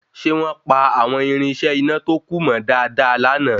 Ṣe wọ́n pa àwọn írínṣẹ́ iná tó kù mọ́ dáadáa lana